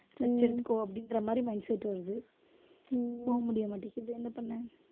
rest எடுத்துக்கோ அப்படின்ற மாதிரி mindset வருது. போக முடிய மாட்டேங்குது. என்ன பண்ண